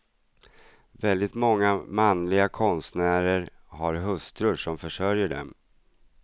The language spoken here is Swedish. Väldigt många manliga konstnärer har hustrur som försörjer dem.